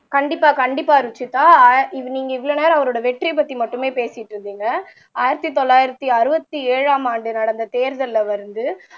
கண்டிப்பா கண்டிப்பா ருஷிதா இது நீங்க இவ்வளவு நேரம் அவரோட வெற்றியைப்பத்தி மட்டுமே பேசிட்டு இருந்தீங்க ஆயிரத்தி தொள்ளாயிரத்து அறுபத்தி ஏழாம் ஆண்டு நடந்த தேர்தல்ல வந்து